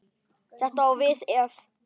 Þetta á við ef